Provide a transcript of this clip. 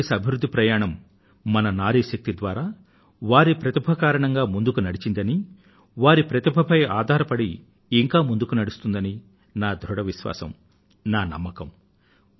భారతదేశ అభివృద్ధి ప్రయాణం మన నారీ శక్తి ద్వారా వారి ప్రతిభ కారణంగా ముందుకు నడిచిందని వారి ప్రతిభపై ఆధారపడి ఇంకా ముందుకు నడుస్తుందని నా ధృఢ విశ్వాసం నా నమ్మకం